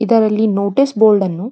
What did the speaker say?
ಇದರಲ್ಲಿ notice board ಅನ್ನು --